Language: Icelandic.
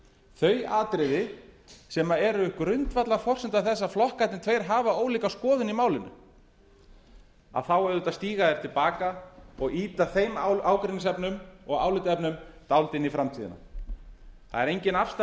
þau atriði sem eru grundvallarforsenda þess að flokkarnir tveir hafa ólíka skoðun í málinu þá auðvitað stíga þeir til baka og ýta þeim ágreiningsefnum og álitaefnum dálítið inn í framtíðina það er engin afstaða